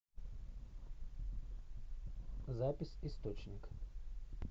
запись источник